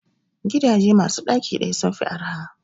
Gidaje masu ɗaki ɗaya sun fi arha